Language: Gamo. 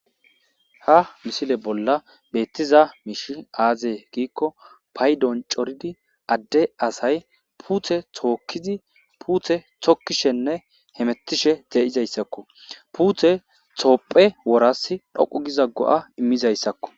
Ha misile bolla beettiza miishi aaze giikko paydon coridi adde asay puuthe tookkizi puuthe tokkishenne hemettishe de'izayssakko puuthe toopphe woras dhoqu giza go'a immizayssakko.